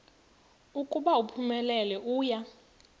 ukuba uphumelele uya